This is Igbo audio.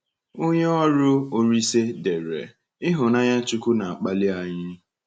Onye ọrụ Olísè dere: “Ịhụnanya Chukwuka na-akpali anyị.”